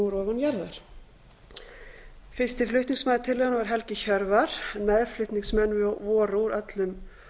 ofan jarðar fyrsti flutningsmaður tillögunnar var helgi hjörvar en meðflutningsmenn voru þingmenn úr öllum